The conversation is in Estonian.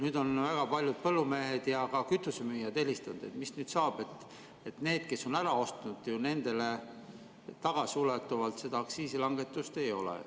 Nüüd on väga paljud põllumehed ja ka kütusemüüjad helistanud, et mis nüüd saab, sest nendele, kes on ära ostnud, tagasiulatuvalt aktsiisilangetust ei ole.